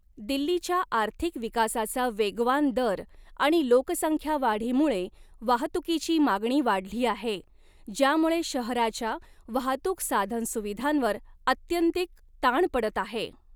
दिल्लीच्या आर्थिक विकासाचा वेगवान दर आणि लोकसंख्यावाढीमुळे वाहतुकीची मागणी वाढली आहे, ज्यामुळे शहराच्या वाहतूक साधनसुविधांवर आत्यंतिक ताण पडत आहे.